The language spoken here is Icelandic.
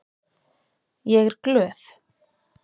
Ég er glöð.